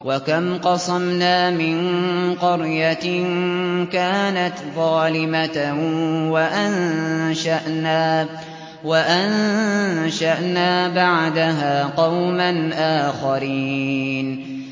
وَكَمْ قَصَمْنَا مِن قَرْيَةٍ كَانَتْ ظَالِمَةً وَأَنشَأْنَا بَعْدَهَا قَوْمًا آخَرِينَ